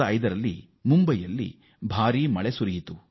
2005ರಲ್ಲಿ ಮುಂಬೈನಲ್ಲಿ ಅತಿಯಾದ ಮಳೆಯಾಯಿತು